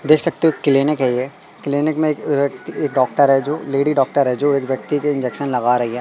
देख सकते हो क्लीनिक है ये क्लीनिक में एक अह एक डॉक्टर है जो लेडी डॉक्टर है जो एक व्यक्ति के इंजेक्शन लगा रही है।